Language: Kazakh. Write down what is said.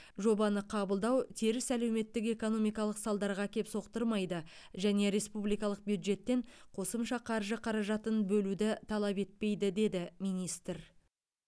жобаны қабылдау теріс әлеуметтік экономикалық салдарға әкеп соқтырмайды және республикалық бюджеттен қосымша қаржы қаражатын бөлуді талап етпейді деді министр